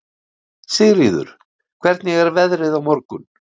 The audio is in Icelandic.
Sigríður, hvernig er veðrið á morgun?